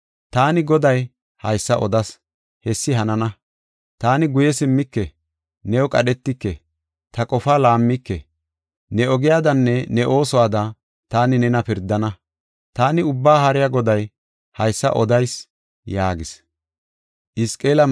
Taani Goday haysa odas; hessi hanana. Taani guye simmike; new qadhetike; ta qofaa laammike. Ne ogiyadanne ne oosuwada taani nena pirdana. Taani Ubbaa Haariya Goday haysa odayis” yaagis.